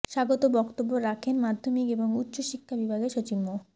স্বাগত বক্তব্য রাখেন মাধ্যমিক এবং উচ্চশিক্ষা বিভাগের সচিব মো